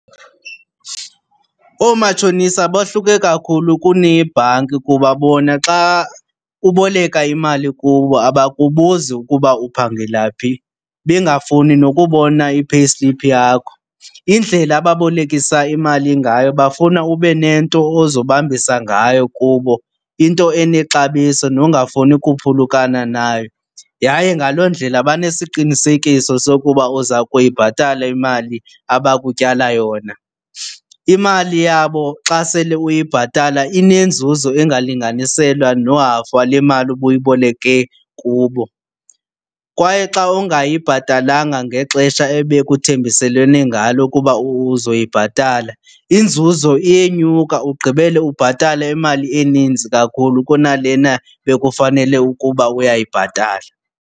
Ooomatshonisa bohluke kakhulu kuneebhanki kuba bona xa uboleka imali kubo abakubuzi ukuba uphangela phi bengafuni nokubona i-payslip yakho. Indlela ababolekisa imali ngayo bafuna ube nento ozobambisa ngayo kubo. Into enexabiso nongafumani kuphulukana nayo, yaye ngaloo ndlela banesiqinisekiso sokuba uza kuyibhatala imali abakutyala yona. Imali yabo xa sele uyibhatala inenzuzo engalinganiselwa nohafu wale mali ubuyiboleke kubo. Kwaye xa ungayibhatalanga ngexesha ebekuthembiselwene ngalo kuba uzoyibhatala inzuzo iyenyuka ugqibele ubhatala imali eninzi kakhulu kunalena bekufanele ukuba uyayibhatala.